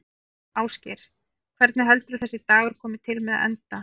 Ásgeir: Hvernig heldurðu að þessi dagur komi til með að enda?